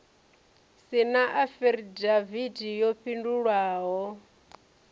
si na afidavithi yo fhindulwaho